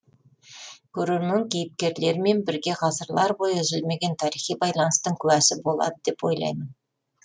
көрермен кейіпкерлермен бірге ғасырлар бойы үзілмеген тарихи байланыстың куәсі болады деп ойлаймын